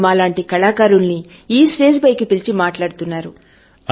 మీరు మా లాంటి కళాకారులను ఈ స్టేజి పైకి పిలిచి మాట్లాడుతున్నారు